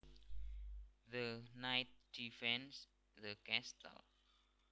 The knight defends the castle